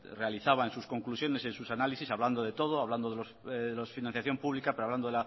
realizaba en sus conclusiones en sus análisis hablando de todo hablando de la financiación pública pero hablando